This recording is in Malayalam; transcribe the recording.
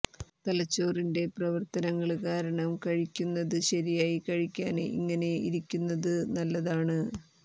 തലച്ചോറിന്റെ പ്രവര്ത്തനങ്ങള് കാരണം കഴിയ്ക്കുന്നത് ശരിയായി കഴിയ്ക്കാന് ഇങ്ങനെ ഇരിയ്ക്കുന്നതു നല്ലതാണ്